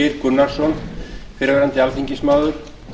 geir gunnarsson fyrrverandi alþingismaður